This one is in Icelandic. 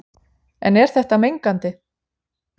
En er þetta mengandi?